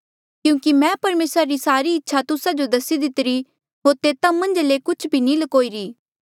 क्यूंकि मैं परमेसरा री सारी इच्छा तुस्सा जो दसी दितिरी होर तेता मन्झ ले कुछ भी नी ल्कोई रा